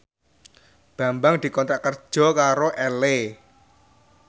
Bambang dikontrak kerja karo Elle